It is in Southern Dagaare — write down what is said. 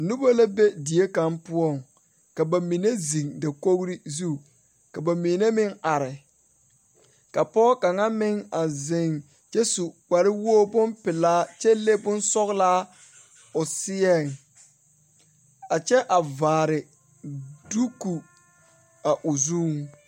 Noba la be die kaŋ poɔŋ ka ba mine zeŋ dakogri zu ka ba mine meŋ are ka pɔge kaŋ meŋ a zeŋ kyɛ su kparewogibompelaa kyɛ le bonsɔglaa o seɛŋ a kyɛ a vaare duku a o zuŋ.